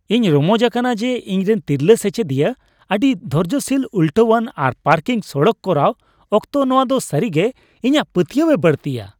ᱤᱧ ᱨᱚᱢᱚᱡ ᱟᱠᱟᱱᱟ ᱡᱮ, ᱤᱧᱨᱮᱱ ᱛᱤᱨᱞᱟᱹ ᱥᱮᱪᱮᱫᱤᱭᱟᱹ ᱟᱹᱰᱤ ᱫᱷᱳᱨᱡᱳᱥᱤᱞ ; ᱩᱞᱴᱟᱹᱣᱟᱱ ᱟᱨ ᱯᱟᱨᱠᱤᱝ ᱥᱚᱲᱠᱚ ᱠᱚᱨᱟᱣ ᱚᱠᱛᱚ ᱱᱚᱶᱟ ᱫᱚ ᱥᱟᱹᱨᱤ ᱜᱮ ᱤᱧᱟᱹᱜ ᱯᱟᱹᱛᱭᱟᱹᱣᱮ ᱵᱟᱹᱲᱛᱤᱭᱟ ᱾